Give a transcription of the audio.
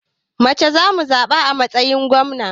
Mace za mu zaɓa a matsayin gwamna.